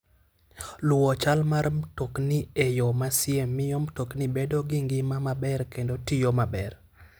Luwo chal mar mtokni e yo masie miyo mtokni bedo gi ngima maber kendo tiyo maber.